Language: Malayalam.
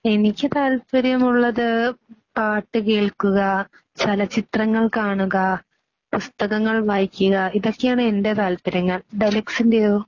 എനിക്ക് താത്പര്യം ഉള്ളത് പാട്ടുകേൾക്കുക ചലച്ചിത്രങ്ങൾ കാണുക പുസ്തകങ്ങൾ വായിക്കുക ഇതൊക്കെയാണ് എൻ്റെ താത്പര്യങ്ങൾ. ന്റെയോ?